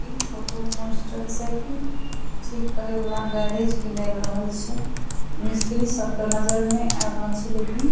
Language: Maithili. ई फोटो मोंस्टरसाइकिल ठीक करे वाला गैरेज के लग रहल छै मिस्त्री सब ते नज़र नै आब रहल छै लेकिन --